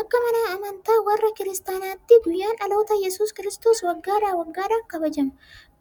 Akka amantaa warra kiristaanotaatti guyyaan dhaloota Yesuus Kiristoos waggaa waggaadhaan kabajama.